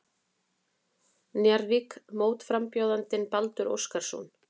Njarðvík mótframbjóðandann Baldur Óskarsson.